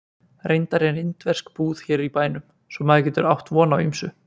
Reyndar er indversk búð hér í bænum svo maður getur átt von á ýmsu